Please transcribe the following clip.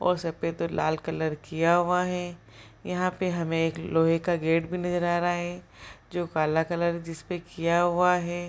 और सफ़ेद और लाल कलर किया हुआ है। यहाँ पे हमें एक लोहे का गेट भी नजर आ रहा है जो काला कलर जिसपे किया हुआ है।